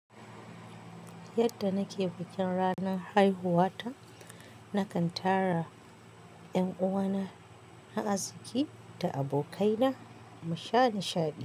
Yadda nake bikin ranan haihuwa ta, nakan tara 'yan uwana na arziki da abokaina mu sha nishaɗi.